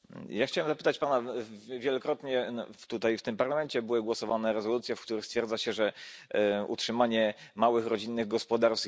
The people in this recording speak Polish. Wielokrotnie tutaj w tym Parlamencie były głosowane rezolucje, w których stwierdza się, że utrzymanie małych rodzinnych gospodarstw jest tutaj naszym priorytetem.